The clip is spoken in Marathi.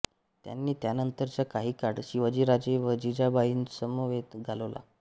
त्यांनी त्यानंतरचा काही काळ शिवाजीराजे व जिजाबाईंसमवेत घालवला